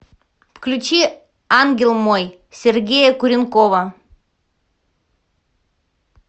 включи ангел мой сергея куренкова